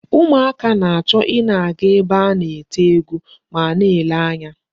Ụmụaka na-achọ ị na-aga ebe a na-eti egwu ma na-ele anya.